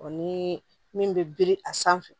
O ni min bɛ biri a sanfɛ